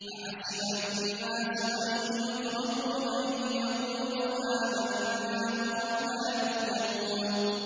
أَحَسِبَ النَّاسُ أَن يُتْرَكُوا أَن يَقُولُوا آمَنَّا وَهُمْ لَا يُفْتَنُونَ